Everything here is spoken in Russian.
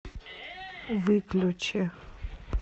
выключи